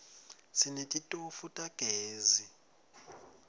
sinetitofu tamezi